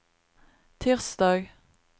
tirsdag